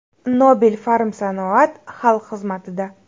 Nobel Pharmsanoat xalq xizmatida.